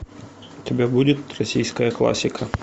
у тебя будет российская классика